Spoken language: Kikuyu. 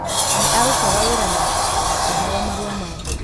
Nĩ aarutaga wĩra na akĩheo marũa ma ndege.